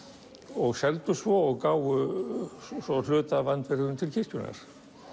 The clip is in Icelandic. og seldu svo og gáfu hluta af andvirðinu til kirkjunnar